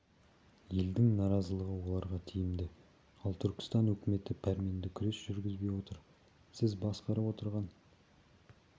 елдің наразылығы оларға тиімді ал түркістан өкіметі пәрменді күрес жүргізбей отыр сіз басқарып отырған